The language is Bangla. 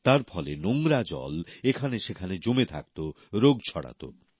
তার ফলে নোংরা জল এখানে সেখানে জমে থাকত রোগ ছড়াত